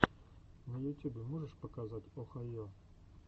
на ютюбе можешь показать охайо